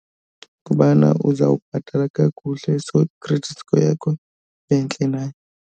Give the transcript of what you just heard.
Kubana uzawubhatala kakuhle so i-credit score yakho ibe ntle nayo.